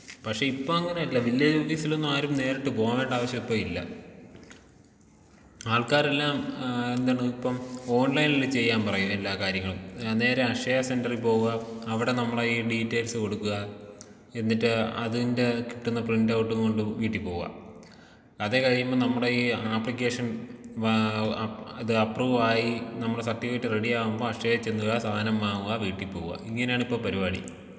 പക്ഷേ ഇപ്പോ അങ്ങനെയല്ല വില്ലേജ് ഓഫീസിലൊന്നും ആരും നേരിട്ട് പോകേണ്ട ആവശ്യപ്പല്ല ആൾക്കാരെല്ലാം ആ എന്താണ് ഇപ്പം ഓൺലൈനില് ചെയ്യാൻ പറയും എല്ലാ കാര്യങ്ങളും ആ നേരെ അക്ഷയ സെന്ററിൽ പോകാ അവിടെ നമ്മടെ ഈ ഡീറ്റെയിൽസ് കൊടുക്കുക എന്നിട്ട് അതിന്റെ കിട്ടുന്ന പ്രിന്റൗട്ടും കൊണ്ട് വീട്ടിൽ പോകാ അത് കഴിയുമ്പോ നമ്മടെ ഈ ആപ്ലിക്കേഷൻ വാ ആ ഇത് അപ്പ്രൂവ് ആയി നമ്മുടെ സർട്ടിഫിക്കറ്റ് റെഡിയാകുമ്പോ അക്ഷയിൽ ചെല്ലുക സാനം വാങ്ങുക വീട്ടിൽ പോവുക ഇങ്ങനെയാണിപ്പോ പരിപാടി.